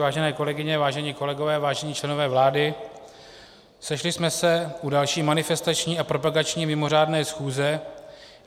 Vážené kolegyně, vážení kolegové, vážení členové vlády, sešli jsme se u další manifestační a propagační mimořádné schůze.